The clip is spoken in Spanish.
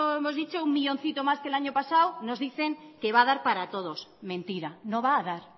hemos dicho con uno millóncito más que el año pasado nos dicen que va a dar para todos mentira no va a dar